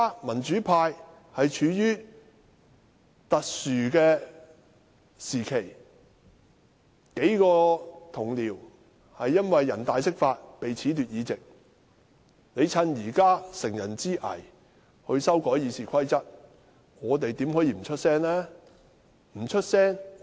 民主派現正處於特殊時期，幾位同事因為人大釋法而被褫奪議席，建制派乘人之危修訂《議事規則》，我們豈可不發聲？